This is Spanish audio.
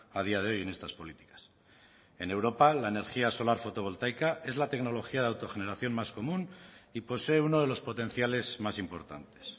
a día de hoy en estas políticas en europa la energía solar fotovoltaica es la tecnología de autogeneración más común y posee uno de los potenciales más importantes